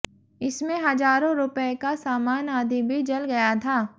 इसमें हजारों रूपये का सामान आदि भी जल गया था